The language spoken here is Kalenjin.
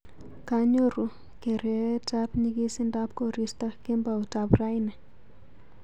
Kanyoru gereetab nyigisindab koristo kemboutab raini